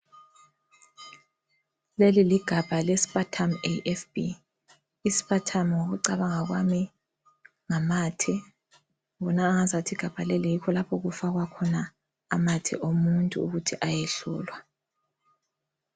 Leliligamba leSputum AFB. Isputum ngokucabanga kwami, ngamathe ngibonangazathi igabha leli yikho okufakwa khona amathe omuntu ukuthi ayehlolwa.